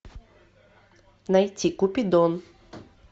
найти купидон